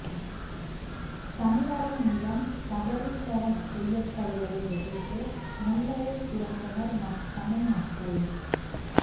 தமிழரின் நிலம் கபளீகரம் செய்யப்படுவதை எதிர்த்து முல்லையில் திரண்டனர் தமிழ் மக்கள்